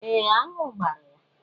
Ee, aṅụ gbara ya.